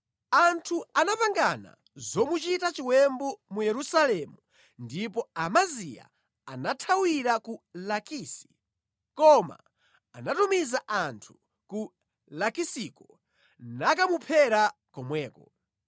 Anthu anapangana zomuchita chiwembu mu Yerusalemu ndipo Amaziya anathawira ku Lakisi, koma anatumiza anthu ku Lakisiko nakamuphera komweko.